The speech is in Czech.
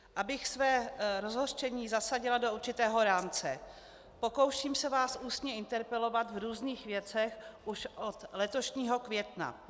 Abych své rozhořčení zasadila do určitého rámce: Pokouším se vás ústně interpelovat v různých věcech už od letošního května.